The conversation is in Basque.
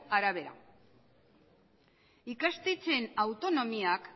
arabera ikastetxeen autonomiak